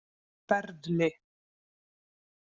Sperðli